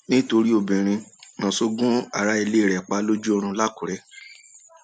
nítorí obìnrin naso gun ará ilé rẹ pa lójú oorun làkùrẹ